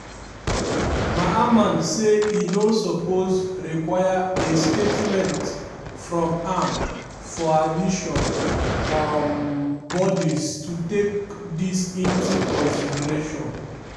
mamman say e no suppose require a statement from am for admission um bodis to take dis into consideration.